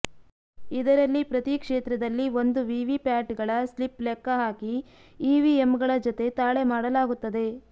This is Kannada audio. ಇದರಲ್ಲಿ ಪ್ರತೀ ಕ್ಷೇತ್ರದಲ್ಲಿ ಒಂದು ವಿವಿಪ್ಯಾಟ್ ಗಳ ಸ್ಲಿಪ್ ಲೆಕ್ಕ ಹಾಕಿ ಇವಿಎಂಗಳ ಜತೆ ತಾಳೆ ಮಾಡಲಾಗುತ್ತದೆ